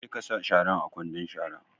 Je ka sa sharan a kwandon shara!